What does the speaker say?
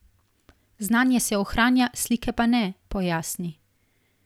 Znanje se ohranja, slike pa ne, pojasni.